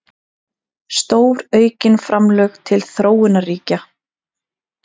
Stóraukin framlög til þróunarríkja